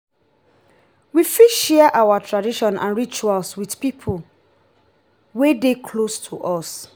we fit share our tradition and rituals with pipo wey dey close to us